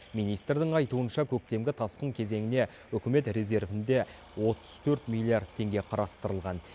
министрдің айтуынша көктемгі тасқын кезеңіне үкімет резервінде отыз төрт миллиард теңге қарастырылған